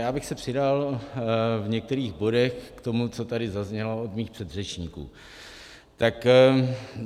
Já bych se přidal v některých bodech k tomu, co tady zaznělo od mých předřečníků.